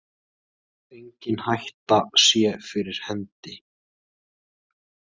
Engin hætta sé fyrir hendi